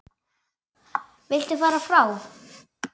Viltu fara frá!